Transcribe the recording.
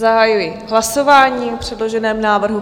Zahajuji hlasování o předloženém návrhu.